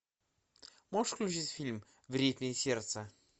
можешь включить фильм в ритме сердца